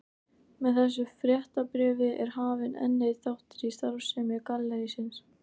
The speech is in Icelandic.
Með þessu fréttabréfi er hafinn enn einn þáttur í starfsemi gallerísins.